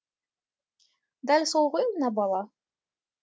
дәл сол ғой мына бала